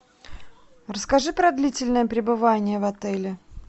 расскажи про длительное пребывание в отеле